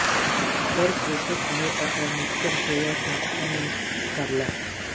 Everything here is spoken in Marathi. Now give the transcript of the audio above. तर पोषक आहे असा निष्कर्ष या संस्थांनी काढला